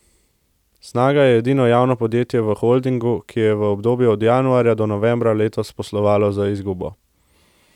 Snaga je edino javno podjetje v holdingu, ki je v obdobju od januarja do novembra letos poslovalo z izgubo.